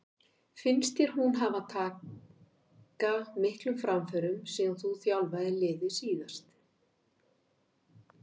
Finnst þér hún hafa taka miklum framförum síðan þú þjálfaðir liðið síðast?